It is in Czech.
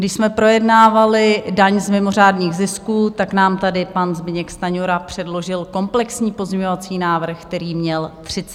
Když jsme projednávali daň z mimořádných zisků, tak nám tady pan Zbyněk Stanjura předložil komplexní pozměňovací návrh, který měl 31 stran.